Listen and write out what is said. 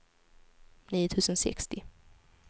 nio tusen sextio